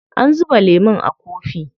An zuba lemun a kofi.